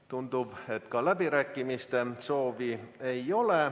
Tundub, et ka läbirääkimiste soovi ei ole.